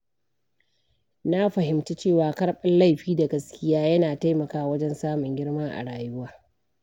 Na fahimci cewa karɓar laifi da gaskiya yana taimakawa wajen samun girma a rayuwa.